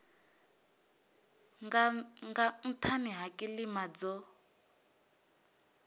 nga nhani ha kilima dzo